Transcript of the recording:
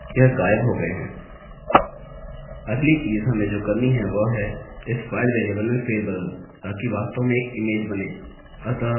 अगली चीज़ हमें जो करनी है वह है इस फाइल वेरिएबल में फेर बदल ताकि वास्तव में एक इमेज बनें